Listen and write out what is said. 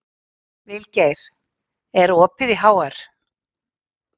Vilgeir, er opið í HR?